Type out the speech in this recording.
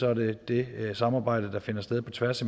er det det samarbejde der finder sted på tværs